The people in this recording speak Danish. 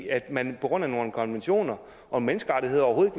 at man på grund af nogle konventioner og menneskerettigheder overhovedet